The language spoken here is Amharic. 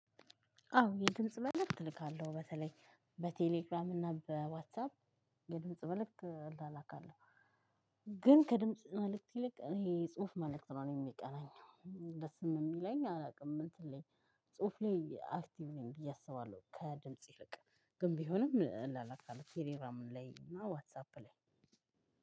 አዎ የድምጽ መልእክት እልካለሁ በተለይ በቴሌግራም እና በዋትሳፕ የድምጽ መልክት እላላካለሁ ግን ከድምጽ መልእክት ይልቅ እኔ የ ጽሁፍ መልእክት ነው የሚቀናኝ። ደስም የሚለኝ አላውቅም እንትን ላይ ጽሁፍ ላይ አክቲቭ ነኝ ብዬ አስባለሁ። ከድምጽ ይልቅ ግን ቢሆንም እላላካለው ቴሌግራም ላይ እና ዋትሳፕ ላይ።